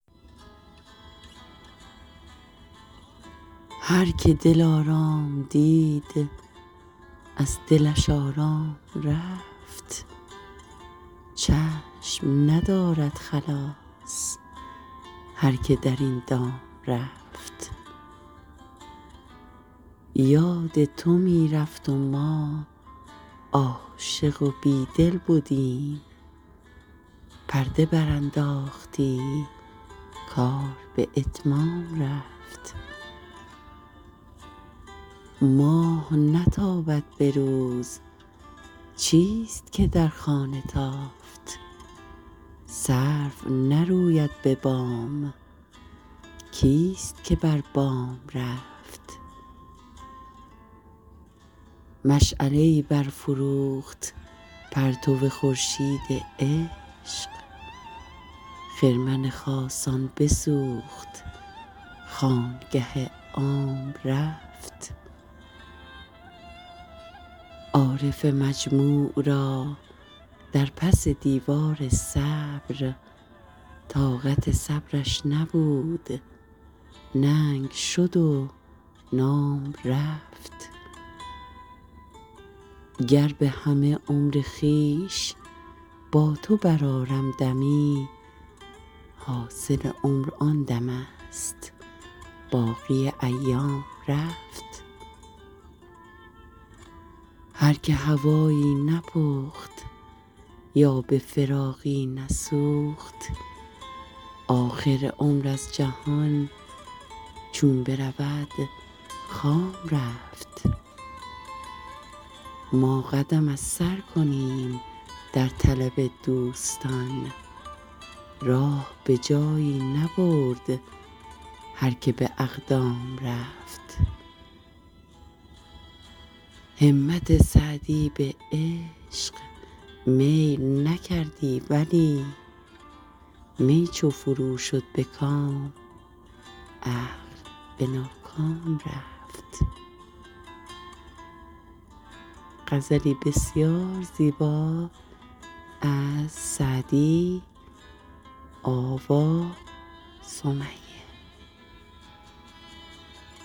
هر که دلارام دید از دلش آرام رفت چشم ندارد خلاص هر که در این دام رفت یاد تو می رفت و ما عاشق و بیدل بدیم پرده برانداختی کار به اتمام رفت ماه نتابد به روز چیست که در خانه تافت سرو نروید به بام کیست که بر بام رفت مشعله ای برفروخت پرتو خورشید عشق خرمن خاصان بسوخت خانگه عام رفت عارف مجموع را در پس دیوار صبر طاقت صبرش نبود ننگ شد و نام رفت گر به همه عمر خویش با تو برآرم دمی حاصل عمر آن دمست باقی ایام رفت هر که هوایی نپخت یا به فراقی نسوخت آخر عمر از جهان چون برود خام رفت ما قدم از سر کنیم در طلب دوستان راه به جایی نبرد هر که به اقدام رفت همت سعدی به عشق میل نکردی ولی می چو فرو شد به کام عقل به ناکام رفت